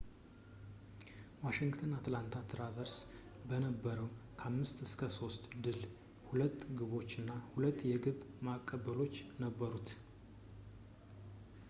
ዋሺንግተን በአትላንታ ትራሸርስ በነበረው 5-3 ድል 2 ግቦች እና 2 የግብ ማቀበሎች ነበሩት